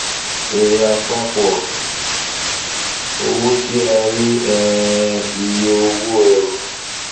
èrè àpapọ owó ti a rí um iye owó ẹrù